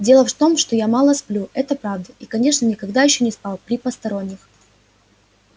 дело в том что я мало сплю это правда и конечно никогда ещё не спал при посторонних